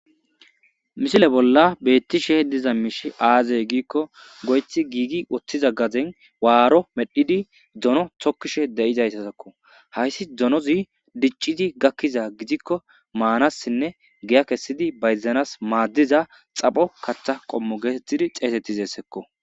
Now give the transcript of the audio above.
misile bolla beettishe diza miishi aazey giikko goyethi giigi woththiza gazen waaro medhidi dono tokkishe de7izaysasakko hayssi donozi dicciti gakkiza gidikko maanassinne giya kessidi bayzanas maaddiza xapho kaththa qommo geetettidi xeesetti zeessekko